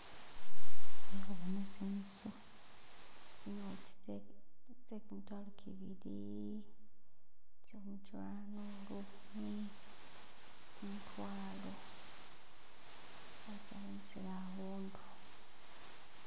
hehubona tsinusu tsinoti tsekumitwalo kibili tsekumutwalo lukhumi kumutwalo basalanisile ahundu